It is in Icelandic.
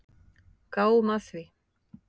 Gáum að því.